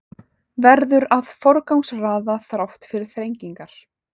Verður að forgangsraða þrátt fyrir þrengingar